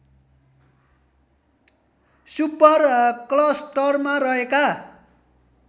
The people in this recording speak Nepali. सुपर क्लस्टरमा रहेका